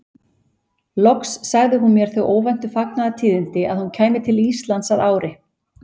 Loks sagði hún mér þau óvæntu fagnaðartíðindi að hún kæmi til Íslands að ári.